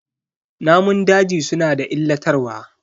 Namun daji suna da illatarwa.